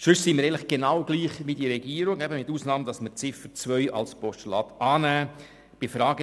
Sonst sehen wir es genau gleich wie die Regierung, eben mit der Ausnahme, dass wir die Ziffer 2 als Postulat annehmen.